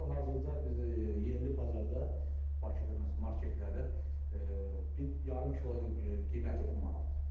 Hal-hazırda biz yerli bazarda Bakıda məsələn marketlərdə bir yarım kilonun qiyməti 10 manatdır.